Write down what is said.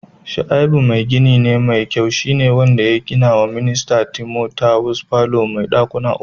shaibu mai gini ne mai kyau shi ne wanda ya gina wa Mista Timothawus falo mai dakuna uku.